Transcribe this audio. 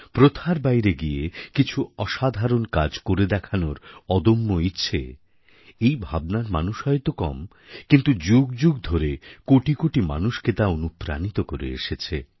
প্রথার বাইরে গিয়ে কিছু অসাধারণ কাজ করে দেখানোর অদম্য ইচ্ছে এই ভাবনার মানুষ হয়ত কম কিন্তু যুগ যুগ ধরে কোটি কোটি মানুষকে তা অনুপ্রাণিত করে এসেছে